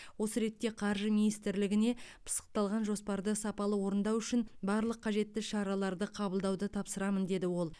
осы ретте қаржы министрлігіне пысықталған жоспарды сапалы орындау үшін барлық қажетті шараларды қабылдауды тапсырамын деді ол